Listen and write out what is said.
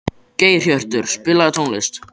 Geirhjörtur, spilaðu tónlist.